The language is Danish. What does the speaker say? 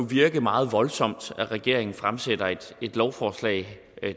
virke meget voldsomt at regeringen fremsætter et lovforslag